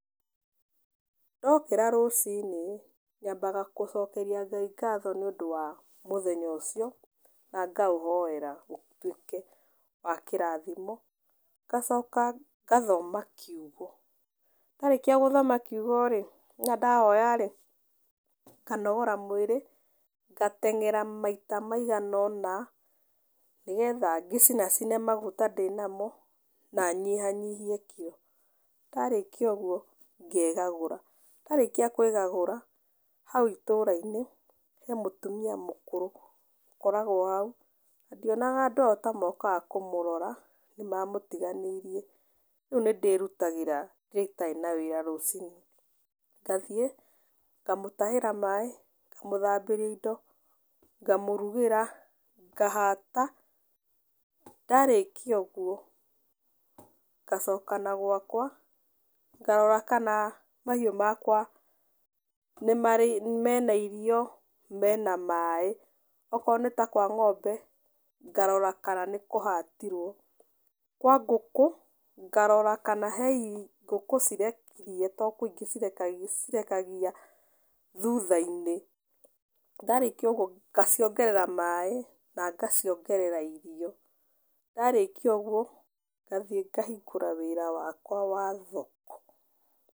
Ndokĩra rũcinĩ nyambaga gũcokeria Ngai ngatho nĩũndũ wa mũthenya ũcio na ngaũhoera ũtuĩke wa kĩrathimo, ngacoka ngathoma kiugo, ndarĩkia gũthoma kiugo-rĩ na ndahoya-rĩ, nganogora mwĩrĩ, ngateng'era maita maigana ũna nĩgetha ngĩcinacine maguta ndĩnamo na nyihanyihie kiro. Ndarĩkia ũguo ngegagũra. Ndarĩkia kwĩgagũra, hau itũra-inĩ he mũtumia mũkũrũ, ũkoragwo hau, na ndionaga andũ ao ta mokaga kũmũrora, nĩmamũtiganĩirie, rĩu nĩndĩrutagĩra rĩrĩa itarĩ na wĩra rũcinĩ ngathiĩ ngamũtahĩra maĩ, ngamũthambĩria indo, ngamũrugĩra, ngahata ndarĩkia ũguo ngacoka na gwakwa, ngarora kana mahiũ makwa mena irio, mena maĩ. Okorwo nĩ ta kwa ng'ombe ngarora kana nĩkũhatirwo, kwa ngũkũ ngarora kana he ngũkũ cirekirie tondũ kwĩ ingĩ cirekagia cirekagia thutha -inĩ. Ndarĩkia ũguo ngaciongerera maĩ na ngaciongerera irio, ndarĩkia ũguo ngathiĩ ngahingũra wĩra wakwa wa thoko.